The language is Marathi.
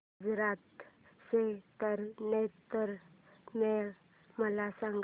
गुजरात चा तारनेतर मेळा मला सांग